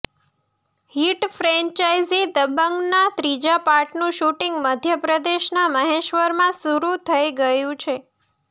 hit franchise દબંગના ત્રીજા પાર્ટનું શૂટિંગ મધ્યપ્રદેશના મહેશ્વરમાં શરુ થઈ ગયું છે